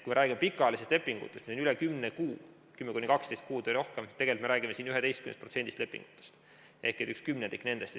Kui me räägime pikaajalistest lepingutest, mis kestavad üle 10 kuu, 10–12 kuud või rohkem, siis me räägime siin 11%-st lepingutest ehk kümnendikust.